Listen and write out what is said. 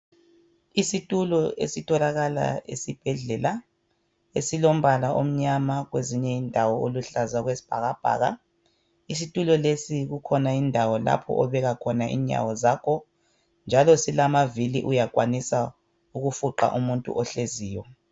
Isitulo esitholakala esibhedlela esilombala omnyama kwezinye indawo oluhlaza okwesibhakabhaka. Isitulo lesi kukhona indawo lapho obeka khona inyawo zakho njalo silamavili uyakwanisa ukufuqa umuntu ohleziyo.